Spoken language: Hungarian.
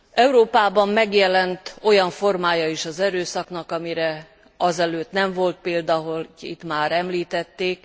Európában megjelent olyan formája is az erőszaknak, amire azelőtt nem volt példa, ahogy itt már említették.